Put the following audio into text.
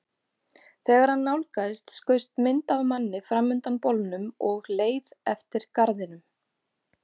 Þegar hann nálgaðist skaust mynd af manni fram undan bolnum og leið eftir garðinum.